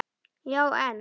Já en.